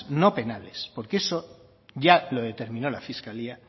no penales porque eso ya lo determinó la fiscalía